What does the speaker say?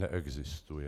Neexistuje.